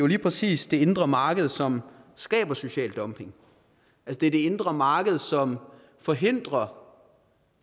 lige præcis det indre marked som skaber social dumping det er det indre marked som forhindrer